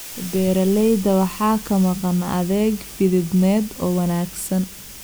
Beeralayda waxaa ka maqan adeeg fidineed oo wanaagsan.